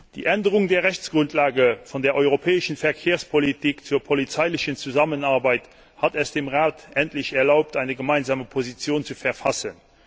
Die Änderung der Rechtsgrundlage von der europäischen Verkehrspolitik zur polizeilichen Zusammenarbeit hat es dem Rat endlich erlaubt, eine Gemeinsame Position zu verfassen.